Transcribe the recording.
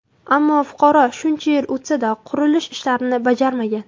Ammo fuqaro shuncha yil o‘tsa-da, qurilish ishlarini bajarmagan.